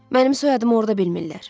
Mənim soyadım orada bilmirlər.